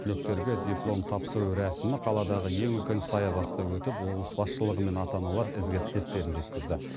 түлектерге диплом тапсыру рәсімі қаладағы ең үлкен саябақта өтіп облыс басшылығы мен ата аналар ізгі тілектерін жеткізді